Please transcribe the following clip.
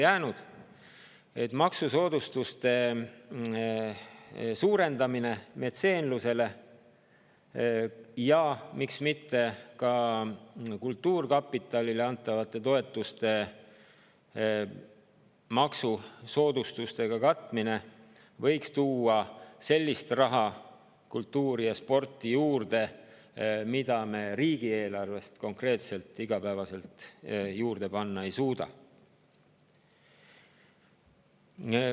Metseenluse maksusoodustuste suurendamine ja miks mitte ka kultuurkapitalile maksusoodustustega katmine võiks tuua kultuuri ja sporti juurde sellist raha, mida me riigieelarvest konkreetselt juurde panna ei suuda.